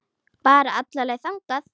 Bara alla leið þangað!